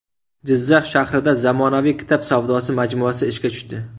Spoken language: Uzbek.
Jizzax shahrida zamonaviy kitob savdosi majmuasi ishga tushdi.